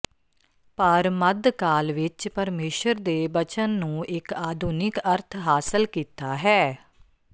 ਪਰ ਮੱਧਕਾਲ ਵਿਚ ਪਰਮੇਸ਼ੁਰ ਦੇ ਬਚਨ ਨੂੰ ਇੱਕ ਆਧੁਨਿਕ ਅਰਥ ਹਾਸਲ ਕੀਤਾ ਹੈ